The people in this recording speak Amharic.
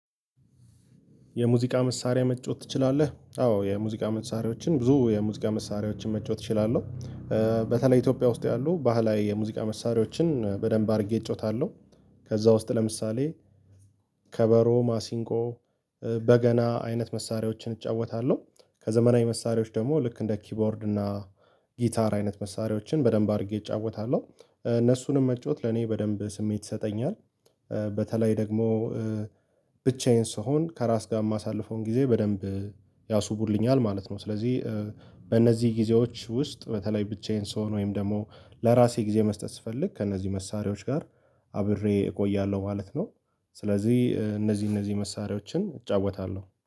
የሙዚቃ መሳሪያ መጫወት ትችላለህ? አዎ የሙዚቃ መሳሪያዎችን ብዙ የሙዚቃ መሳሪያዎችን መጫወት እችላለሁ። በተለይ ኢትዮጵያ ውስጥ ያሉ ባህላዊ የሙዚቃ መሳሪያዎችን በደንብ አድርጌ እጮታለሁ። ከዛ ውስጥ ለምሳሌ ከበሮ ማሲንቆ በገና አይነት መሳሪያዎችን እጫወታለሁ። ከዘመናዊ መሳሪያዎች ደግሞ ልክ እንደ ኪቦርድ እና ጊታር አይነት መሳሪያዎችን በደንብ አድርጌ እጫወታለሁ። እነሱንም መጫወት ለኔ በደንብ ስሜት ይሰጠኛል በተለይ ደግሞ ብቻዬን ስሆን ከራስ ጋር የማሳልፈውን ጊዜ በደንብ ያስውቡልኛል ማለት ነው። ስለዚህ በእነዚህ ጊዜዎች ውስጥ በተለይ ብቻዬን ስሆን ወይም ደግሞ ለራሴ ጊዜ መስጠት ስፈልግ ከእነዚህ መሳሪያዎች ጋር አብሬ እቆያለሁ ማለት ነው። ስለዚህ እነዚህ እነዚህ መሳሪያዎችን እጫወታለሁ